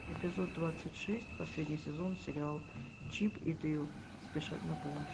эпизод двадцать шесть последний сезон сериал чип и дейл спешат на помощь